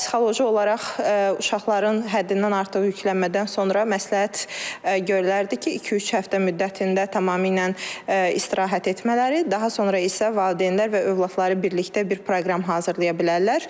Psixoloji olaraq uşaqların həddindən artıq yüklənmədən sonra məsləhət görülürdü ki, iki-üç həftə müddətində tamamilə istirahət etmələri, daha sonra isə valideynlər və övladları birlikdə bir proqram hazırlaya bilərlər.